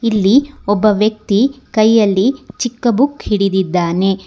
ಇಲ್ಲಿ ಒಬ್ಬ ವ್ಯಕ್ತಿ ಕೈಯಲ್ಲಿ ಚಿಕ್ಕ ಬುಕ್ ಹಿಡಿದಿದ್ದಾನೆ.